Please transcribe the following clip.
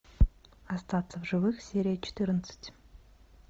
остаться в живых серия четырнадцать